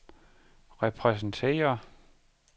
repræsenterer